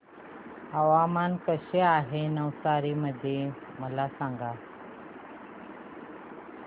हवामान कसे आहे नवसारी मध्ये मला सांगा